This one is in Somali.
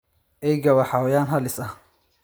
eyga waa xayawaan halis ah.